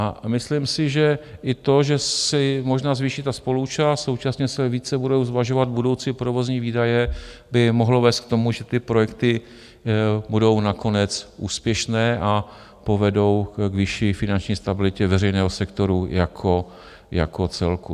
A myslím si, že i to, že se možná zvýší ta spoluúčast, současně se více budou zvažovat budoucí provozní výdaje, by mohlo vést k tomu, že ty projekty budou nakonec úspěšné a povedou k vyšší finanční stabilitě veřejného sektoru jako celku.